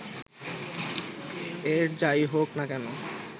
এর যাই হোক না কেন